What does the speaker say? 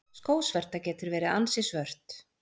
Skósverta getur verið ansi svört.